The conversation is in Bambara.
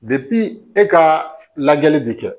e ka lajɛli bɛ kɛ